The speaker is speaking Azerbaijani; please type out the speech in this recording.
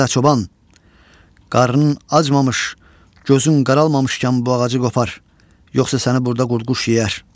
Adə çoban, qarnın acmamış, gözün qaralmamışkən bu ağacı qopar, yoxsa səni burda qurd-quş yeyər.